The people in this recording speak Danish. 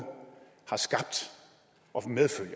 har skabt og medfører